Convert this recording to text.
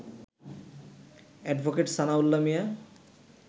advocate Sanaullah Mia